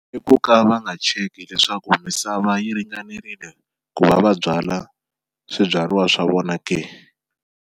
I ku ka va nga cheki leswaku misava yi ringanerile ku va va byala swibyariwa swa vona ke.